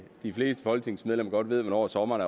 de fleste folketingsmedlemmer ved hvornår sommeren